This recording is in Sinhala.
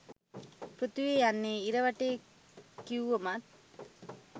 පෘථිවිය යන්නේ ඉර වටේ කිව්වමත්